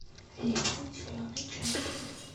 липтон зеленый чай